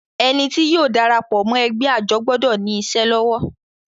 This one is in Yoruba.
Ẹni tí yóò darapọ̀ mọ́ ẹgbẹ́ àjọ gbọdọ̀ ní isẹ́ lọ́wọ́